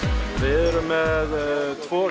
við erum með tvo